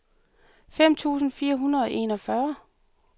femten tusind fire hundrede og enogfyrre